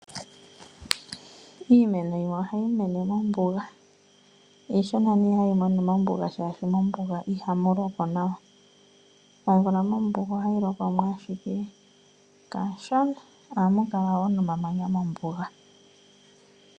Iimeno yimwe ohayi mene mombuga, iishona nee hayi mene mombuga molwaashoka mombuga ihamu lokwa nawa, omvula mombuga ohayi loko mo ashike kashona. Ohamu kala woo momamanya mombuga.